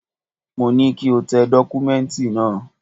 Mo ní kí o tẹ dọ́kúmẹ́ǹtì náà!